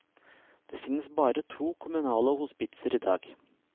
Det finnes bare to kommunale hospitser i dag.